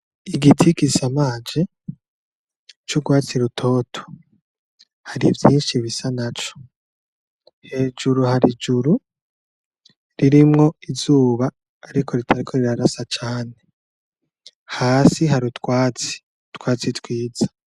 Igiti gisamaje c'urwatsi rutoto, hari vyinshi bisa naco. Hejuru harijuru ririmwo izuba ariko ritariko rirarasa cane. Hasi hari utwatsi, utwatsi twiza.